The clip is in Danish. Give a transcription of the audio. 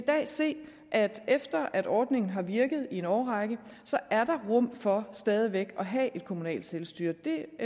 dag se at der efter at ordningen har virket i en årrække så er der rum for stadig væk at have et kommunalt selvstyre det